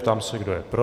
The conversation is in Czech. Ptám se, kdo je pro.